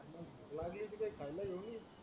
लागेल ती काय खाईला घेउनये